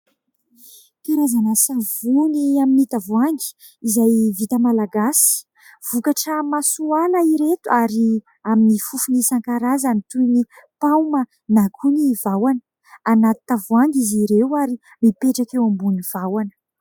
Karazana savony amin'ny tavoahangy izay vita malagasy. Vokatra Masoala ireto ary amin'ny fofony isan-karazany toy ny paoma na koa ny vahona anaty tavoahangy izy ireo ary mipetraka eo ambonin'ny vahona.